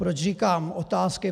Proč říkám otázky?